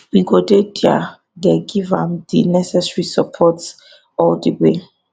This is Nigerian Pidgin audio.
we go dey dia dey give am di necessary support all di way